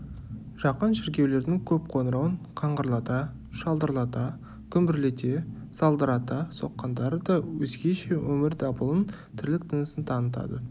жақын шіркеулердің көп қоңырауын қаңғырлата шалдырлата гүмбірлете салдырата соққандары да өзгеше өмір дабылын тірлік тынысын танытады